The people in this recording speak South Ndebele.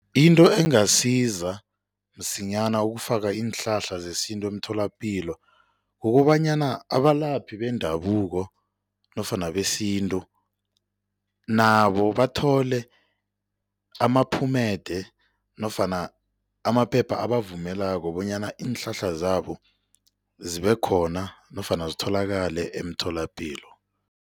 Into engasiza msinyana ukufaka iinhlahla zesintu emtholapilo kukobanyana abalaphi bendabuko nofana besintu nabo bathole amaphumede nofana amaphepha abavumelako bonyana iinhlahla zabo zibekhona nofana zitholakale emtholapilo.